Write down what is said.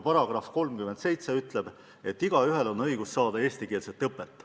§ 37 ütleb, et igaühel on õigus saada eestikeelset õpet.